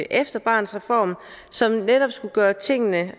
efter barnets reform som netop skulle gøre tingene